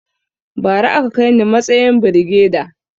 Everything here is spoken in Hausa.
Bara a ka kaini matsayin birigeda